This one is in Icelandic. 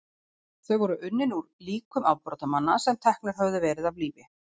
þau voru unnin úr líkum afbrotamanna sem teknir höfðu verið af lífi